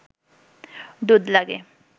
দুধ লাগে